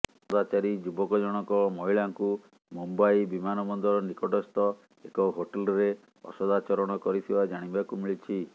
ଅସଦାଚାରୀ ଯୁବକ ଜଣକ ମହିଳାଙ୍କୁ ମୁମ୍ବାଇ ବିମାନବନ୍ଦର ନିକଟସ୍ଥ ଏକ ହୋଟେଲ୍ରେ ଅସଦାଚରଣ କରିଥିବା ଜାଣିବାକୁ ମିଳିଛି